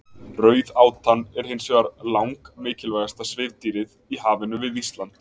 Rauðátan er hins vegar langmikilvægasta svifdýrið í hafinu við Ísland.